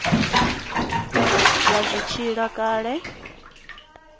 vha zwi tshi ila kale